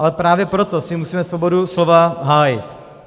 Ale právě proto si musíme svobodu slova hájit.